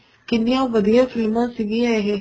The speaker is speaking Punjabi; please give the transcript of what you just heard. ਕਿੰਨੀਆਂ ਵਧੀਆ ਫ਼ਿਲਮਾ ਸੀਗੀਆਂ ਇਹ